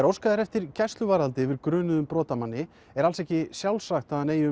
óskað er eftir gæsluvarðhaldi yfir grunuðum brotamanni er alls ekki sjálfsagt að hann eigi